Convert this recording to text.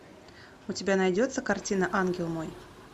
у тебя найдется картина ангел мой